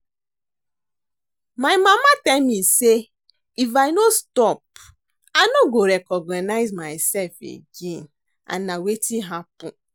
My mama tell me say if I no stop I no go recognize myself again and na wetin happen